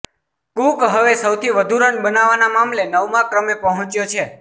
cook હવે સૌથી વધુ રન બનાવવાના મામલે નવમા ક્રમે પહોંચ્યો છે